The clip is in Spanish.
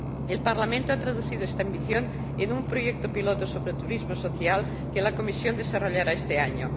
El Parlamento ha traducido esta ambición en un proyecto piloto sobre turismo social que la Comisión desarrollará este año.